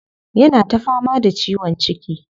Yana ta fama da ciwon ciki.